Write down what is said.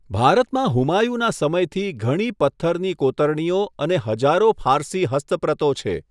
ભારતમાં હુમાયુના સમયથી ઘણી પથ્થરની કોતરણીઓ અને હજારો ફારસી હસ્તપ્રતો છે.